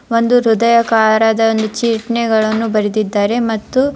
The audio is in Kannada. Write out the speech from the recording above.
ಒಂದು ಹೃದಯಕಾರದ ಒಂದು ಚಿಟ್ನಿಗಳನ್ನು ಬರೆದಿದ್ದಾರೆ ಮತ್ತು --